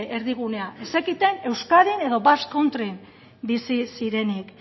erdigunea ez zekiten euskadin edo basque countryn bizi zirenik